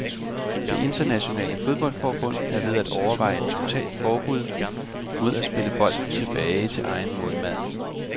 Det internationale fodboldforbund er ved at overveje en totalt forbud mod at spille bolden tilbage til egen målmand.